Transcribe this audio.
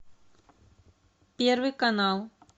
первый канал